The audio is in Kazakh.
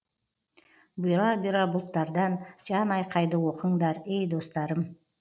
бұйра бұйра бұлттардан жан айқайды оқыңдар ей достарым